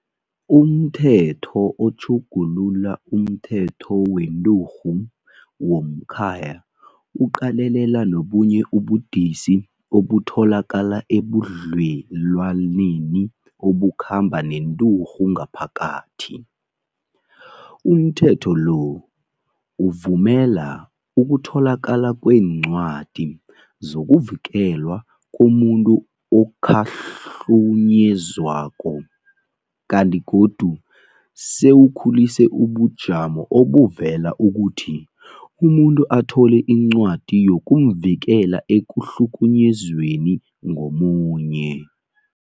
UmThetho oTjhugulula umThetho weNturhu yomKhaya uqalelela nobunye ubudisi obutholakala ebudlelwaneni obukhamba nenturhu ngaphakathi. UmThetho lo uvumela ukutholakala kweencwadi zokuvikelwa komuntu okhahlunyezwako, kanti godu sewukhulise ubujamo obuvumela ukuthi umuntu athole incwadi yokumvikela ekukhahlunyezweni ngomunye.